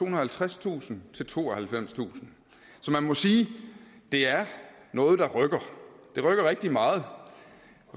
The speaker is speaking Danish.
og halvtredstusind til tooghalvfemstusind så man må sige at det er noget der rykker det rykker rigtig meget